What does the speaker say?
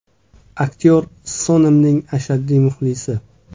Aktyor Sonamning ashaddiy muxlisi.